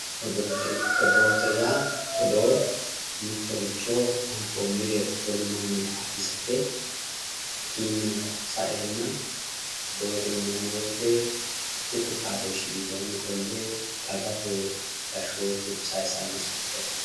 Odoo odoote yaa mittoricho wolu mannira odeessate yaate hakkiinnino saeenna odoote yineemmo woyite tuqu xaadooshshi widoonni qolte dagate gashshootu sayisanno doogooti.